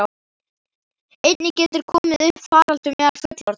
Einnig getur komið upp faraldur meðal fullorðinna.